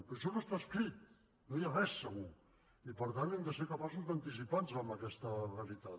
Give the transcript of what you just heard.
però això no està escrit no hi ha res segur i per tant hem de ser capaços d’anticipar nos a aquesta veritat